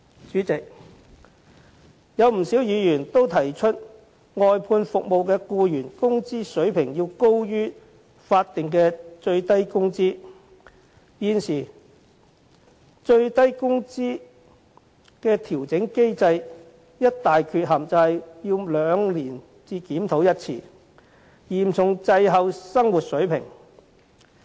主席，不少議員也提出外判服務的僱員工資水平應高於法定最低工資，現時最低工資調整機制的一大缺陷是每兩年才檢討一次，嚴重滯後於生活水平。